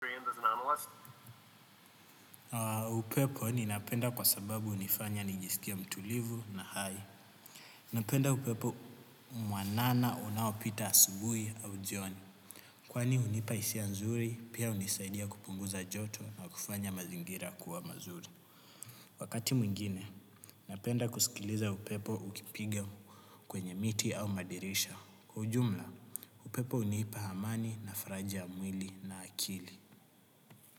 Upepo ninapenda kwa sababu hunifanya nijisikie mtulivu na hai. Napenda upepo mwanana unaopita asubuhi au jioni. Kwani hunipa hisia nzuri, pia hunisaidia kupunguza joto na kufanya mazingira kuwa mazuri. Wakati mwingine, napenda kusikiliza upepo ukipigia kwenye miti au madirisha. Kwa ujumla, upepo hunipa amani na faraja ya mwili na akili.